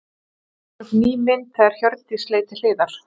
Það var komin upp ný mynd þegar Hjördís leit til hliðar.